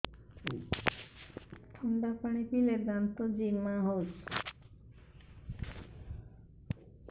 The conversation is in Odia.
ଥଣ୍ଡା ପାଣି ପିଇଲେ ଦାନ୍ତ ଜିମା ହଉଚି